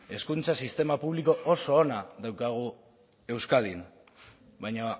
hezkuntza sistema publiko oso ona daukagu euskadin baina